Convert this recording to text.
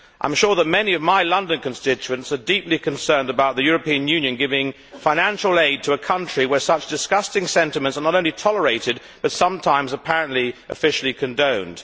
I am sure that many of my London constituents are deeply concerned about the European Union giving financial aid to a country where such disgusting sentiments are not only tolerated but sometimes apparently officially condoned.